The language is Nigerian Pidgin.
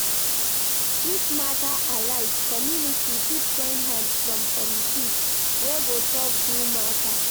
If matter arise, community fit join hand from committee wey go solve do matter